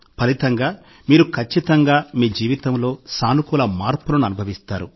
ఫలితంగా మీరు ఖచ్చితంగా మీ జీవితంలో సానుకూల మార్పులను అనుభవిస్తారు